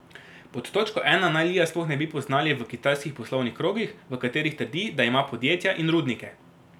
Pod točko ena naj Lija sploh ne bi poznali v kitajskih poslovnih krogih, v katerih trdi, da ima podjetja in rudnike.